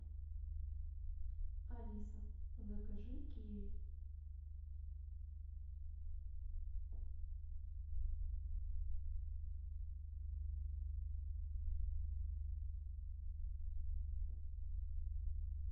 алиса закажи киви